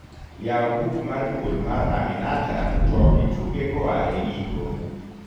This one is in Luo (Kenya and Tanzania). yaw buk mar duol mar aminata to ituge koa e giko